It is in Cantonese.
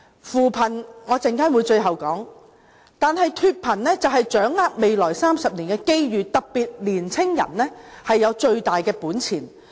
稍後我會說一說扶貧，但說回脫貧，便要掌握未來30年的機遇，這方面年青人有最大本錢。